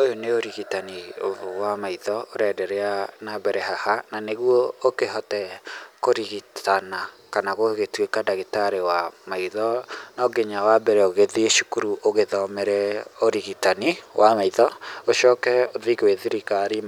Ũyũ nĩ ũrigitani ũmwe wa maitho ũra endelea haha nanĩguo ũkĩhote kũrigitana kana gũgĩtuĩka ndagĩtarĩ wa maitho no nginya wa mbere ũgĩthiĩ cukuru ũgĩthomere ũrigitani wa maitho, ũcoke ũthiĩ gwĩ thirikari